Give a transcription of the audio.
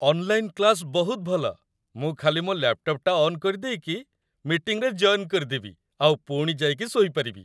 Online class ବହୁତ ଭଲ । ମୁଁ ଖାଲି ମୋ ଲ୍ୟାପ୍‌ଟପ୍‌ଟା ଅନ୍ କରିଦେଇକି, ମିଟିଂରେ ଜଏନ୍ କରିଦେବି ଆଉ ପୁଣି ଯାଇକି ଶୋଇପାରିବି ।